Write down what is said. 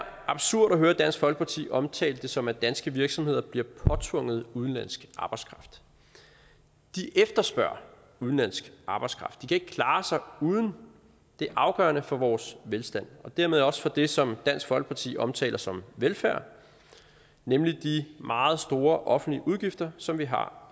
absurd at høre dansk folkeparti omtale det som at danske virksomheder bliver påtvunget udenlandsk arbejdskraft de efterspørger udenlandsk arbejdskraft ikke klare sig uden det er afgørende for vores velstand og dermed også for det som dansk folkeparti omtaler som velfærd nemlig de meget store offentlige udgifter som vi har